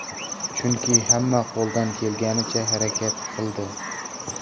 Chunki hamma qo‘ldan kelganicha harakat qildi.